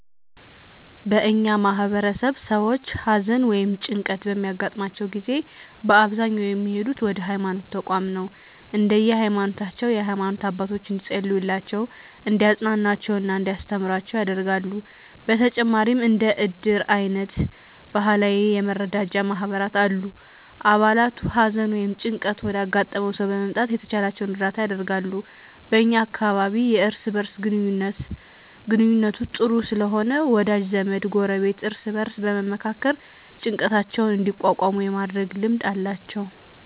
በእኛ ማህበረሰብ ሰዎች ሀዘን ወ ይም ጭንቀት በሚያገጥማቸው ጊዜ በአብዛኛው የሚሄዱት ወደ ሀይማኖት ተቋማት ነው። እንደየ ሀይማኖታቸው የሃይማኖት አባቶች እንዲፀልዩላቸው፣ እንዲያፅናኑአቸው እና እንዲያስተምሩአቸው ያደርጋሉ። በተጨማሪም እንደ እድር አይነት ባህላዊ የመረዳጃ ማህበራት አሉ። አባላቱ ሀዘን ወይም ጭንቀት ወዳጋጠመው ሰው በመምጣት የተቻላቸውን እርዳታ ያደርጋሉ። በ እኛ አካባቢ የእርስ በእርስ ግንኙነቱ ጥሩ ስለሆነ ወዳጅ ዘመድ፣ ጎረቤት እርስ በእርስ በመመካከር ጭንቀታቸውን እንዲቋቋሙ የማድረግ ልማድ አላቸው።